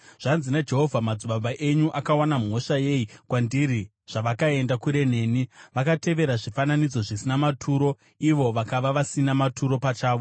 Zvanzi naJehovha: “Madzibaba enyu akawana mhosva yei kwandiri, zvavakaenda kure neni? Vakatevera zvifananidzo zvisina maturo ivo vakava vasina maturo pachavo.